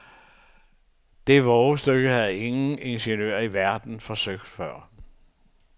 Det vovestykke havde ingen ingeniører i verden forsøgt før.